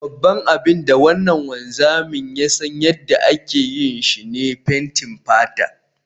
Babban abin da wannan wanzami ya san yadda ake yi, shi ne fenkin fata